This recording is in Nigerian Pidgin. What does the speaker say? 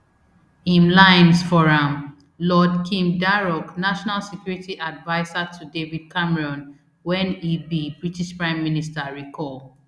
im lines for am lord kim darroch national security adviser to david cameron wen e be british prime minister recall